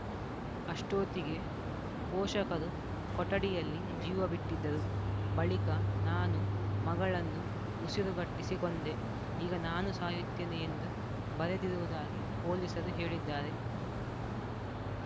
ಅಷ್ಟೋತಿಗೆ ಪೋಷಕರು ಕೊಠಡಿಯಲ್ಲಿ ಜೀವ ಬಿಟ್ಟಿದ್ದರು ಬಳಿಕ ನಾನು ಮಗಳನ್ನು ಉಸಿರುಗಟ್ಟಿಸಿ ಕೊಂದೆ ಈಗ ನಾನು ಸಾಯುತ್ತೇನೆ ಎಂದು ಬರೆದಿರುವುದಾಗಿ ಪೊಲೀಸರು ಹೇಳಿದ್ದಾರೆ